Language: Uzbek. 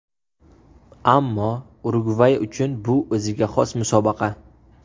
Ammo Urugvay uchun bu o‘ziga xos musobaqa.